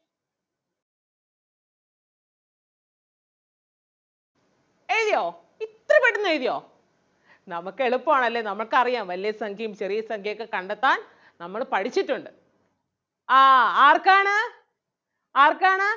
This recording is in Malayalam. എഴുതിയോ ഇത്ര പെട്ടെന്ന് എഴുതിയോ നമ്മൾക്ക് എളുപ്പം ആണല്ലേ നമ്മൾക്ക് അറിയാം വലിയ സംഖ്യയും ചെറിയ സംഖ്യയും ഒക്കെ കണ്ടെത്താൻ നമ്മള് പഠിച്ചിട്ടൊണ്ട് ആഹ് ആർക്കാണ് ആർക്കാണ്?